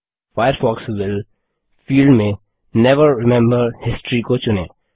Firefox will field में never remember history को चुनें